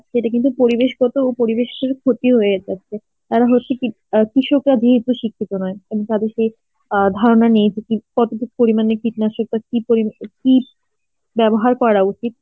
এটা কিন্তু পরিবেশগত পরিবেশটার ক্ষতি হয়ে যাচ্ছে. আবার হচ্ছে কি তাদের সেই অ্যাঁ ধারণা নেই যে কি কতটুক পরিমানে কীটনাশক কি পরি~ কি ব্যবহার করা উচিত